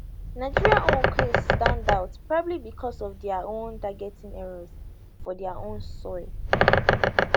nigeria own case stand out probably bicos of dia own targeting errors for dia own soil